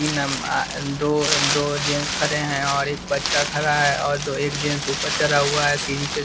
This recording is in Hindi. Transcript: ई नम आ दो ह दो जेंस खड़े हैं और एक बच्चा खड़ा है और दो एक जेंस ऊपर चढ़ा हुआ है सीढ़ी के --